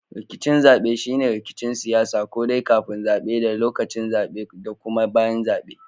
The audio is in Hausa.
Rikicin zabe shine rikicin siyasa ko dai kafin zabe da lokacin zabe da kuma bayan zabe.